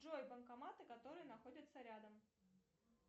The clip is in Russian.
джой банкоматы которые находятся рядом